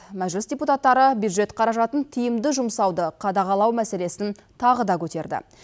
мәжіліс депутаттары бюджет қаражатын тиімді жұмсауды қадағалау мәселесін тағы да көтерді